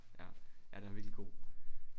Ja. Ja den er virkelig god